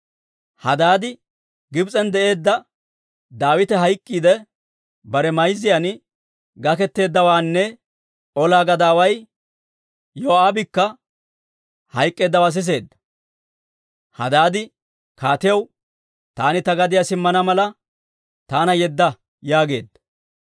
Hadaadi Gibs'en de'iidde Daawite hayk'k'iidde bare mayzzan gaketeeddawaanne ola gadaaway Yoo'aabikka hayk'k'eeddawaa siseedda; Hadaadi kaatiyaw, «Taani ta gadiyaa simmana mala taana yedda» yaageedda.